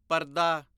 ਪਰਦਾ